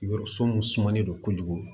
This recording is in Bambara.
Yɔrɔ sun sumalen don kojugu